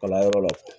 Kalanyɔrɔ la